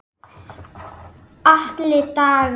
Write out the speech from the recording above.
Atli Dagur.